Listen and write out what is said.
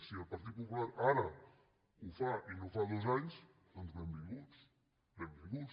si el partit popular ara ho fa i no fa dos anys doncs benvinguts benvinguts